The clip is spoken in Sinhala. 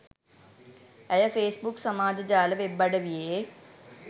ඇය ෆේස්බුක් සමාජ ජාල වෙබ් අඩවියේ